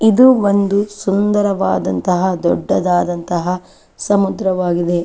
ಇದು ಒಂದು ಸುಂದರದಂತಹ ದೊಡ್ಡದಾದಂತಹ ಸಮುದ್ರವಾಗಿದೆ.